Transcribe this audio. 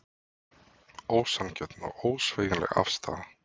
Ósanngjörn og ósveigjanleg afstaða